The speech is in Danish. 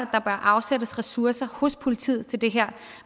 afsættes ressourcer hos politiet til det her